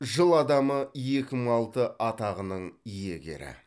жыл адамы екі мың алты атағының иегері